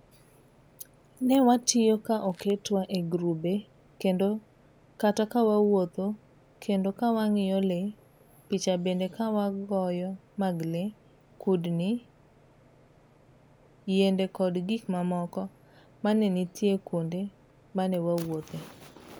Ne watiyo ka oketwa e girube kendo kata kawawuothokendo kawang'iyo lee picha bende wagoyomag lee kudni .yiendekod gik mamoko manenitie kuonde manee wawuothee.